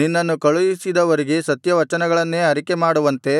ನಿನ್ನನ್ನು ಕಳುಹಿಸಿದವರಿಗೆ ಸತ್ಯವಚನಗಳನ್ನೇ ಅರಿಕೆ ಮಾಡುವಂತೆ